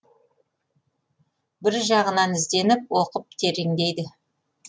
бір жағынан ізденіп оқып тереңдейді